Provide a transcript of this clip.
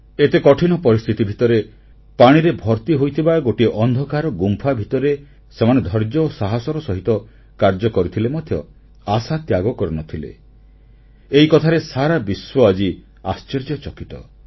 ଏତେ କଠିନ ପରିସ୍ଥିତି ଭିତରେ ପାଣିରେ ଭର୍ତ୍ତି ହୋଇଥିବା ଗୋଟିଏ ଅନ୍ଧକାର ଗୁମ୍ଫା ଭିତରେ ସେମାନେ ଧୈର୍ଯ୍ୟ ଓ ସାହସର ସହିତ କାର୍ଯ୍ୟ କରିଥିଲେ ମଧ୍ୟ ଆଶା ତ୍ୟାଗ କରିନଥିଲେ ଏହି କଥାରେ ସାରା ବିଶ୍ୱ ଆଜି ଆଶ୍ଚର୍ଯ୍ୟଚକିତ